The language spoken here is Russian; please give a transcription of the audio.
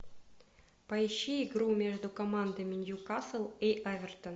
поищи игру между командами ньюкасл и эвертон